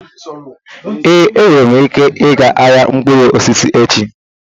Ee, enwere m ike ịga ahịa mkpụrụ osisi echi.